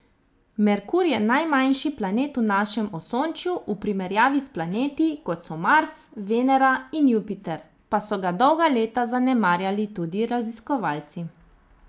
Merkur je najmanjši planet v našem osončju, v primerjavi s planeti, kot so Mars, Venera in Jupiter, pa so ga dolga leta zanemarjali tudi raziskovalci.